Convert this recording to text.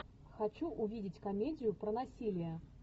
хочу увидеть комедию про насилие